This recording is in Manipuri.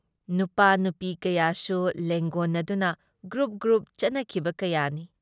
ꯅꯨꯄꯥꯥ-ꯅꯨꯄꯤ ꯀꯌꯥꯁꯨ ꯂꯦꯡꯒꯣꯟꯅꯗꯨꯅ ꯒ꯭ꯔꯨꯞ-ꯒ꯭ꯔꯨꯞ ꯆꯠꯅꯈꯤꯕ ꯀꯌꯥꯅꯤ ꯫